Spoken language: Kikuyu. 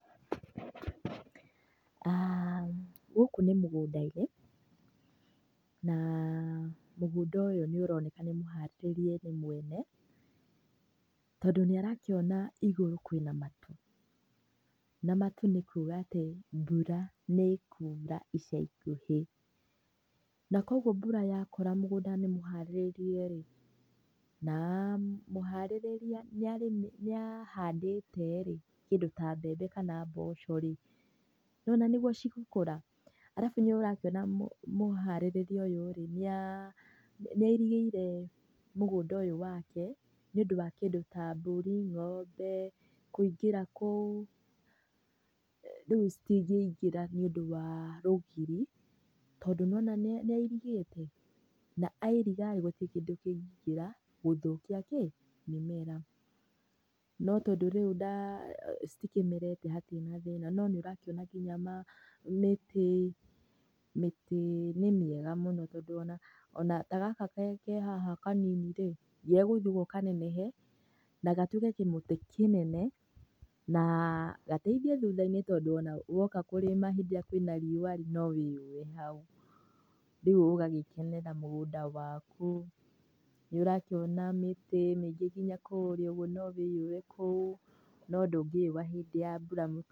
Gũkũ nĩ mũgũnda-inĩ, na mũgũnda ũyũ nĩ ũroneka nĩ mũhacĩrie nĩ mwene tondũ nĩ arakĩona igũru kwĩna matu na matu nĩ kuga atĩ mbura nĩkura ica ikuhĩ. Na koguo mbura yakora mũgũnda nĩ mũharĩrĩrie rĩ, na mũharĩrĩria nĩ ahandĩte rĩ, kĩndũ ta mbembe kana mboco rĩ, nĩwona nĩguo cigũkũra. Alafu nĩ ũrakĩona mũharĩrĩria ũyũ rĩ, nĩ airigĩire mũgũnda ũyũ wake nĩũndũ wa kĩndũ ta mbũri, ng'ombe kũingĩra kũu, rĩu citingĩingĩra nĩũndũ wa rũgiri. Tondũ nĩ wona nĩ airigĩte na airiga rĩ, gũtirĩ kĩndũ kĩngĩingĩra gũthũkia kĩ, mĩmera. No tondũ rĩu citikĩmerete hatirĩ na thĩna no nĩũrakĩona nginya mĩtĩ, mĩtĩ nĩ mĩega mũno tondũ ona ta gaka ke haha kanini rĩ, gegũthiĩ ũguo kanenehe na gatuĩke kĩmũtĩ kĩnene na gateithie thutha-inĩ tondũ ona woka kũrĩma hĩndĩ ĩrĩa kwĩna riũa, no wĩyũe hau, rĩu ũgagĩkenera mũgũnda waku. Nĩ ũrakĩona mĩtĩ mĩingĩ nginya kũũrĩa ũguo no wĩũe kũu no ndũngĩũa hĩndĩ ya mbura.